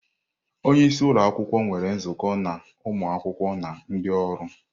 Onye isi ụlọ akwụkwọ nwere nzukọ na ụmụ akwụkwọ na ndị ọrụ.